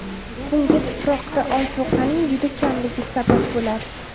Bunga tuproqda ozuqaning juda kamligi sabab bo‘ladi.